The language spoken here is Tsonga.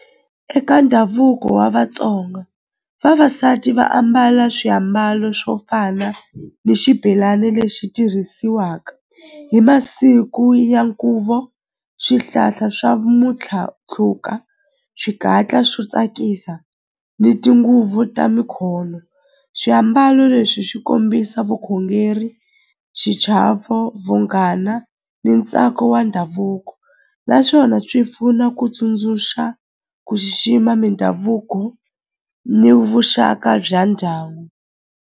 Eka ndhavuko wa Vatsonga vavasati va ambala swiambalo swo fana ni xibelani lexi tirhisiwaka hi masiku ya nkhuvo swihlahla swa swigatla swo tsakisa ni tinguvu ta swiambalo leswi swi kombisa vukhongeri xichavo vunghana ni ntsako wa ndhavuko naswona swi pfuna ku tsundzuxa ku xixima mindhavuko ni vuxaka bya ndyangu.